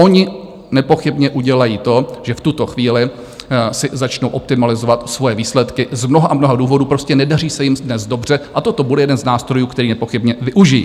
Oni nepochybně udělají to, že v tuto chvíli si začnou optimalizovat svoje výsledky z mnoha a mnoha důvodů, prostě nedaří se jim dnes dobře a toto bude jeden z nástrojů, který nepochybně využijí.